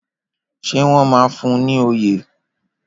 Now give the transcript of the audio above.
Ṣé wọ́n máa fún un ní oyè?